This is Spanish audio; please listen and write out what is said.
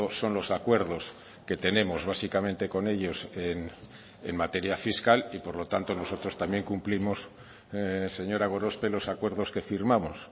son los acuerdos que tenemos básicamente con ellos en materia fiscal y por lo tanto nosotros también cumplimos señora gorospe los acuerdos que firmamos